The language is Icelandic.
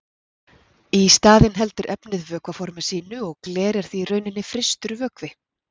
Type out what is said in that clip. Í staðinn heldur efnið vökvaformi sínu og gler er því í rauninni frystur vökvi.